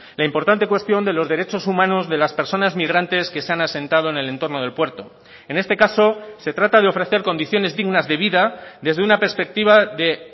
la importante cuestión de los derechos humanos de las personas migrantes que se han asentado en el entorno del puerto en este caso se trata de ofrecer condiciones dignas de vida desde una perspectiva de